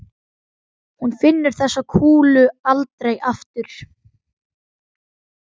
Hún finnur þessa kúlu aldrei aftur.